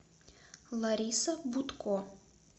лариса бутко